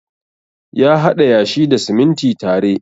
Ya haɗa yashi da siminti tare.